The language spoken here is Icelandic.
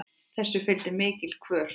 Þessu fylgdi mikil kvöl.